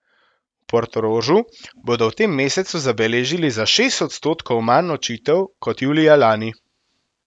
V Portorožu bodo v tem mesecu zabeležili za šest odstotkov manj nočitev kot julija lani.